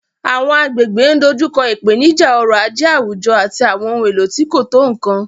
Àwọn agbègbè ń dojú kọ ìpèníjà ọrọ̀ ajé àwùjọ àti àwọn ohun èlò tí kò tó nkan.